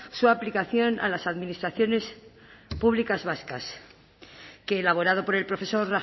su aplicación a las administraciones públicas vascas que elaborado por el profesor